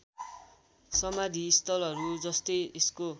समाधिस्थलहरू जस्तै यसको